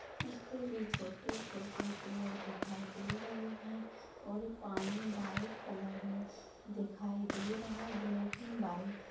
उसपे भी छोटे छोटे पेड़ दिखाई दे रहे है और पानी व्हाइट कलर मे दिखाई दे रहा है ब्लॅक अँड व्हाइट --